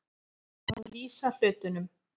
Að lýsa hlutunum